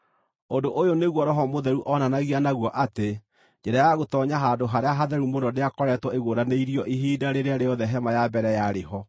Ũndũ ũyũ nĩguo Roho Mũtheru oonanagia naguo atĩ njĩra ya gũtoonya Handũ-harĩa-Hatheru-Mũno ndĩakoretwo ĩguũranĩirio ihinda rĩrĩa rĩothe hema ya mbere yarĩ ho.